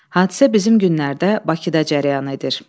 Hadisə bizim günlərdə Bakıda cərəyan edir.